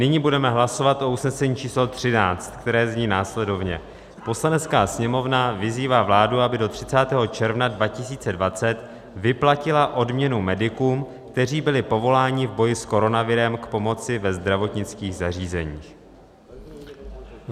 Nyní budeme hlasovat o usnesení číslo 13, které zní následovně: "Poslanecká sněmovna vyzývá vládu, aby do 30. června 2020 vyplatila odměnu medikům, kteří byli povoláni v boji s koronavirem k pomoci ve zdravotnických zařízeních."